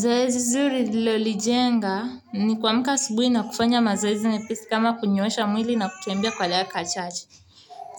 Zoezi zuri nililolijenga ni kuamka asubuhi na kufanya mazoezi mepesi kama kunyoosha mwili na kutembea kwa dakika chache